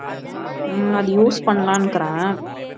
உம் அது use பண்ணலாங்கறேன்